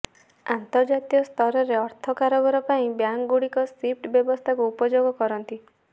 ଅନ୍ତର୍ଜାତୀୟ ସ୍ତରରେ ଅର୍ଥ କାରବାର ପାଇଁ ବ୍ୟାଙ୍କ ଗୁଡ଼ିକ ସ୍ବିଫ୍ଟ ବ୍ୟବସ୍ଥାକୁ ଉପଯୋଗ କରନ୍ତି